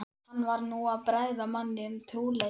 Hann var nú að bregða manni um trúleysi.